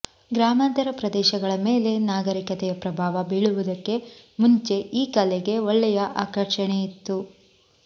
ಗ್ರಾಮಾಂತರ ಪ್ರದೇಶಗಳ ಮೇಲೆ ನಾಗರಿಕತೆಯ ಪ್ರಭಾವ ಬೀಳುವುದಕ್ಕೆ ಮುಂಚೆ ಈ ಕಲೆಗೆ ಒಳ್ಳೆಯ ಆಕರ್ಷಣೆಯಿತ್ತು